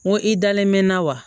N ko i dalen mɛ n na wa